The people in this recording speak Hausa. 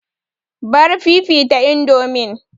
Bar fifita indomin!